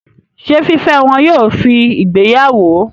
Ṣé fífẹ́ wọn yóò fi ìgbéyàwó?